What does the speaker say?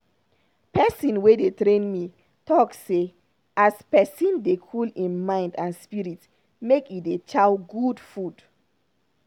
pesin wey dey train me talk say as pesin dey cool im mind and spirit make e dey chow good food.